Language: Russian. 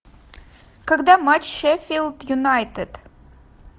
когда матч шеффилд юнайтед